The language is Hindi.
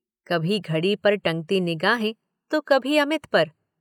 कभी घड़ी पर टंगती निगाहें तो कभी अमित पर।